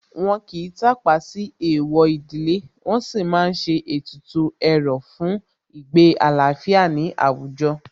Wọ́n kìí tàpá sí Èèwọ̀ ìdílé, wọn sì má ń ṣe ètùtù ẹ̀rọ̀ fún ìgbé àlàáfíà ní àwùjọ